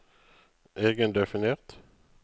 egendefinert